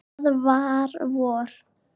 Það er vor.